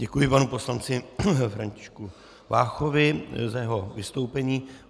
Děkuji panu poslanci Františku Váchovi za jeho vystoupení.